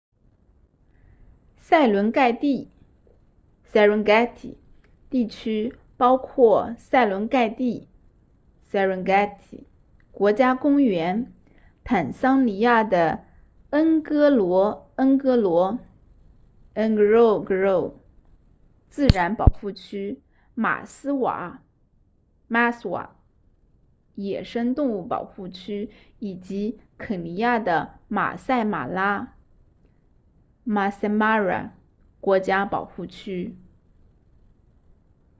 塞伦盖蒂 serengeti 地区包括塞伦盖蒂 serengeti 国家公园坦桑尼亚的恩戈罗恩戈罗 ngorongoro 自然保护区马斯瓦 maswa 野生动物保护区以及肯尼亚的马赛马拉 maasai mara 国家保护区